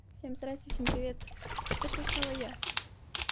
всем здравствуйте всем привет это снова я